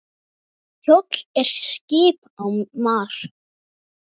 Kjóll er skip á mar.